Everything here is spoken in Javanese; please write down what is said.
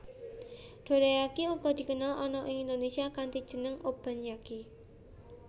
Dorayaki uga dikenal ana ing Indonesia kanthi jeneng Obanyaki